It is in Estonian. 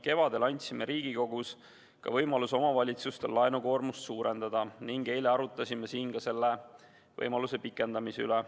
Kevadel andsime Riigikogus omavalitsustele võimaluse laenukoormust suurendada ning eile arutasime siin selle võimaluse pikendamise üle.